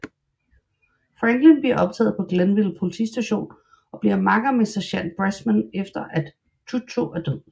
Franklin bliver optaget på Glenville Politistation og bliver makker med sergent Bressman efter som at Chucho er død